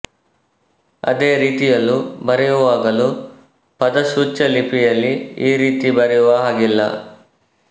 ಅದೇ ರೀತಿಯಲ್ಲೂ ಬರೆಯುವಾಗಲೂ ಪದಸೂಚ್ಯಲಿಪಿಯಲ್ಲಿ ಈ ರೀತಿ ಬರೆಯುವ ಹಾಗಿಲ್ಲ